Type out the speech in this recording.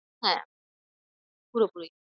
হ্যাঁ পুরোপুরি